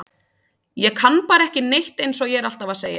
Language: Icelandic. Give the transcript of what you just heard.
Ég kann bara ekki neitt eins og ég er alltaf að segja.